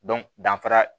danfara